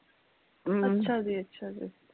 ਅੱਛਾ ਜੀ ਅੱਛਾ ਜੀ